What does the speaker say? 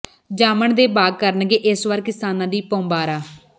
ਜਾਮਣ ਦੇ ਬਾਗ ਕਰਨਗੇ ਇਸ ਵਾਰ ਕਿਸਾਨਾਂ ਦੀ ਪੌਂ ਬਾਰਾਂ